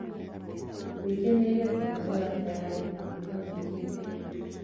wikenere zangalewa tayarĩ guthaka guukite